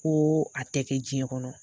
Ko a tɛ kɛ diɲɛ kɔnɔ.